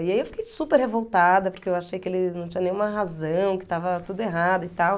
E aí eu fiquei super revoltada porque eu achei que ele não tinha nenhuma razão, que estava tudo errado e tal.